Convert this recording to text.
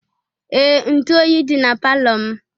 Ee! Ntu oyi dị na palọ m.